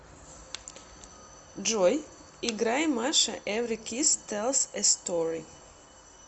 джой играй маша эври кисс тэлс э стори